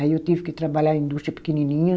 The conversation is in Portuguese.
Aí eu tive que trabalhar em indústria pequenininha.